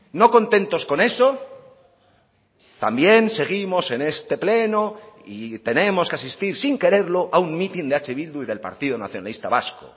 no contentos con eso también seguimos en este pleno y tenemos que asistir sin quererlo a un mitin de eh bildu y del partido nacionalista vasco